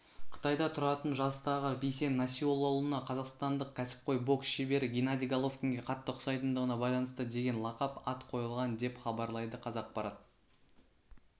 қытайда тұратын жастағы бейсен насиоллаұлына қазақстандық кәсіпқой бокс шебері геннадий головкинге қатты ұқсайтындығына байланысты деген лақап ат қойылған деп хабарлайды қазақпарат